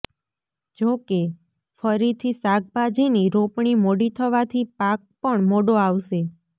જો કે ફરીથી શાકભાજીની રોપણી મોડી થવાથી પાક પણ મોડો આવશે